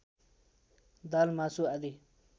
दाल मासु आदि